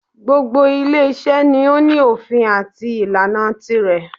Gbogbo ile iṣẹ́ ni o ní òfin àti ìlànà tirẹ̀.